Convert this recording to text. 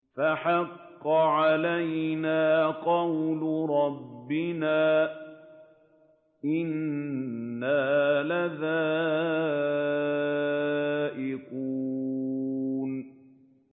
فَحَقَّ عَلَيْنَا قَوْلُ رَبِّنَا ۖ إِنَّا لَذَائِقُونَ